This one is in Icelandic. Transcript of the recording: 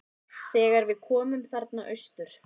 Þegar við komum þarna austur.